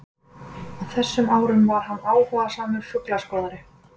Á þessum árum var hann áhugasamur fuglaskoðari.